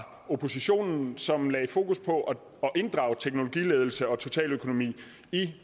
oppositionen som lagde fokus på at inddrage teknologiledelse og totaløkonomi i